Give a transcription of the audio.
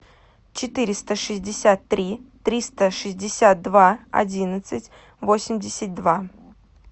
четыреста шестьдесят три триста шестьдесят два одиннадцать восемьдесят два